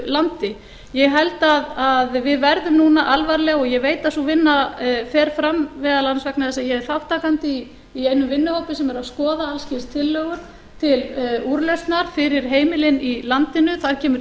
landi ég held að við verðum núna alvarlega og ég veit að sú vinna fer fram meðal annars vegna þess að ég er þátttakandi í einum vinnuhópi sem er að skoða alls kyns tillögur til úrlausnar fyrir heimilin í landinu þar kemur